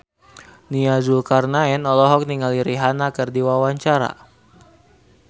Nia Zulkarnaen olohok ningali Rihanna keur diwawancara